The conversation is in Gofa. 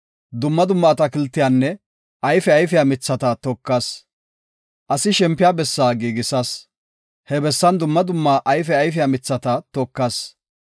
Dumma dumma atakiltiyanne ayfe ayfiya mithata tokas; asi shempiya bessaa giigisas. He bessan dumma dumma ayfe ayfiya mithata tokas.